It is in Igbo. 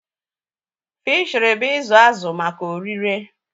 Fịshiri bụ izu azụ maka oririe